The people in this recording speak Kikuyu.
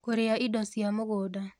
Kũrĩa ĩdo cia mũgũnda